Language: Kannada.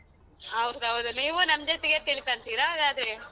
ಹೌದ್ ಹೌದು ನೀವು ನಮ್ ಜೊತೆಗೆ ತಿಳ್ಕನ್ತೀರಾ ಹಾಗಾದ್ರೆ?